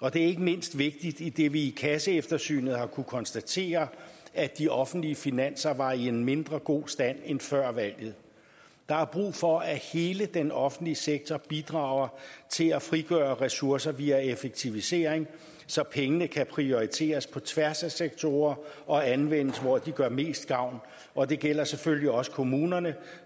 og det er ikke mindst vigtigt idet vi kasseeftersynet har kunnet konstatere at de offentlige finanser var i en mindre god stand end antaget før valget der er brug for at hele den offentlige sektor bidrager til at frigøre ressourcer via effektivisering så pengene kan prioriteres på tværs af sektorer og anvendes hvor de gør mest gavn og det gælder selvfølgelig også kommunerne